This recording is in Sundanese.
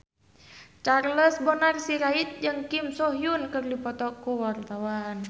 Charles Bonar Sirait jeung Kim So Hyun keur dipoto ku wartawan